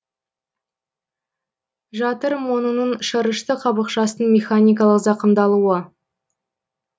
жатыр монының шырышты қабықшасының механикалық зақымдалуы